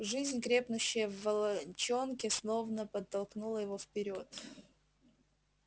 жизнь крепнущая в волчонке словно подтолкнула его вперёд